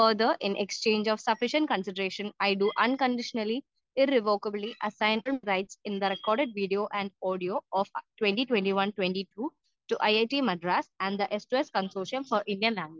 speaker 2 further in exchange of sufficient consideration I do unconditionally rights irrevocably in the record video and audio of 2021,22 to IIT Madras and the express conclusion for Indian languages